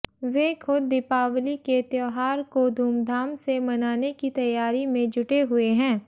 वे ख़ुद दीपावली के त्योहार को धूमधाम से मनाने की तैयारी में जुटे हुए हैं